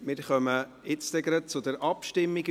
Wir kommen gleich zur Abstimmung.